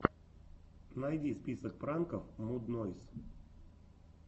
найди список пранков муд нойз